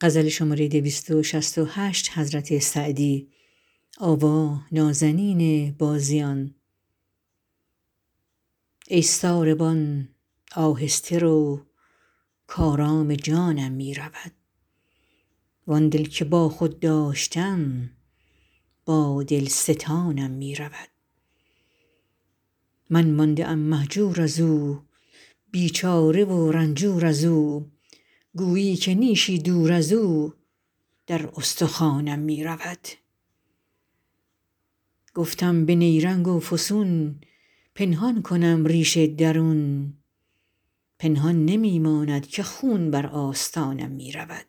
ای ساربان آهسته رو کآرام جانم می رود وآن دل که با خود داشتم با دل ستانم می رود من مانده ام مهجور از او بیچاره و رنجور از او گویی که نیشی دور از او در استخوانم می رود گفتم به نیرنگ و فسون پنهان کنم ریش درون پنهان نمی ماند که خون بر آستانم می رود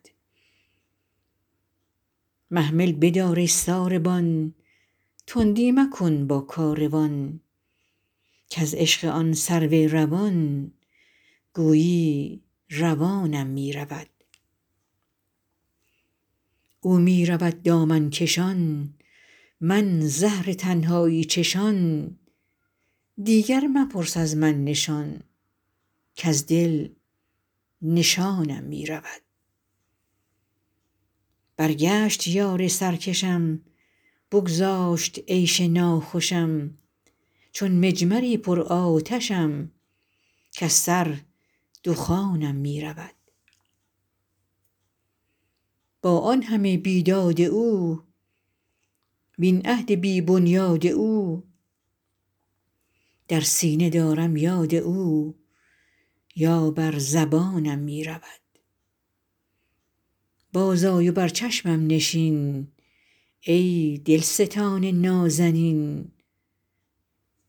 محمل بدار ای ساروان تندی مکن با کاروان کز عشق آن سرو روان گویی روانم می رود او می رود دامن کشان من زهر تنهایی چشان دیگر مپرس از من نشان کز دل نشانم می رود برگشت یار سرکشم بگذاشت عیش ناخوشم چون مجمری پرآتشم کز سر دخانم می رود با آن همه بیداد او وین عهد بی بنیاد او در سینه دارم یاد او یا بر زبانم می رود بازآی و بر چشمم نشین ای دلستان نازنین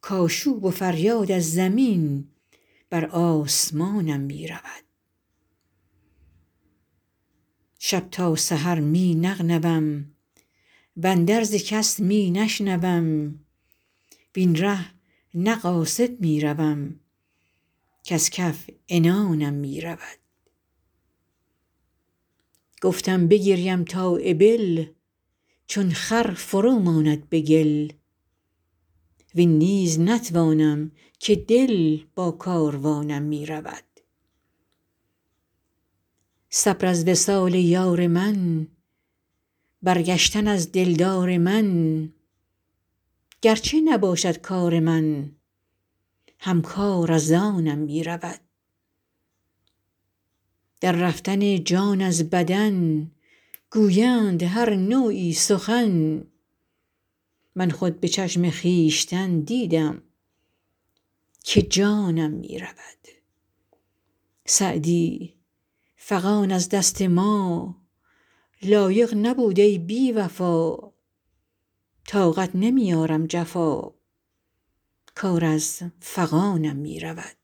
کآشوب و فریاد از زمین بر آسمانم می رود شب تا سحر می نغنوم واندرز کس می نشنوم وین ره نه قاصد می روم کز کف عنانم می رود گفتم بگریم تا ابل چون خر فرو ماند به گل وین نیز نتوانم که دل با کاروانم می رود صبر از وصال یار من برگشتن از دلدار من گر چه نباشد کار من هم کار از آنم می رود در رفتن جان از بدن گویند هر نوعی سخن من خود به چشم خویشتن دیدم که جانم می رود سعدی فغان از دست ما, لایق نبود ای بی وفا طاقت نمی آرم جفا کار از فغانم می رود